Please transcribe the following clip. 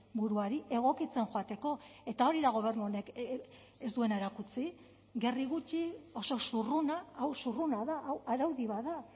buruari egokitzen joateko eta hori da gobernu honek ez duena erakutsi gerri gutxi oso zurruna hau zurruna da hau araudi bat da